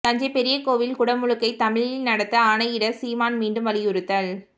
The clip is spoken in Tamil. தஞ்சை பெரிய கோயில் குடமுழுக்கை தமிழில் நடத்த ஆணையிட சீமான் மீண்டும் வலியுறுத்தல்